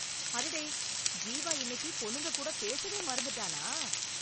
அடடே ஜீவா இன்னைக்கு பொண்ணுங்க கூட பேசவே மறந்துட்டானா!